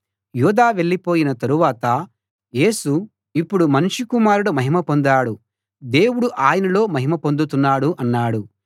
యూదా వెళ్ళిపోయిన తరువాత యేసు ఇప్పుడు మనుష్య కుమారుడు మహిమ పొందాడు దేవుడు ఆయనలో మహిమ పొందుతున్నాడు అన్నాడు